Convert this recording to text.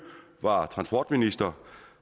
var transportminister